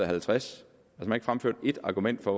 50 man har ikke fremført et argument for